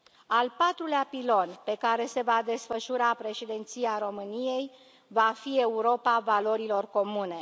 Al patrulea pilon pe care se va desfășura Președinția României va fi Europa valorilor comune.